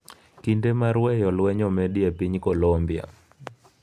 Kinde mar weyo lweny omedi e piny Kolombia